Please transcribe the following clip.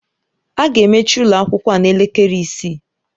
A ga-emechi ụlọ akwụkwọ a n'elekere isii.